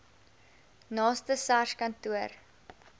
naaste sars kantoor